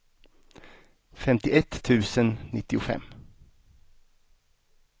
femtioett tusen nittiofem